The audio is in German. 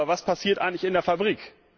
Aber was passiert eigentlich in der Fabrik?